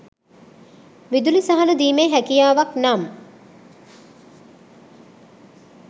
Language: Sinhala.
විදුලි සහන දීමේ හැකියාවක් නම්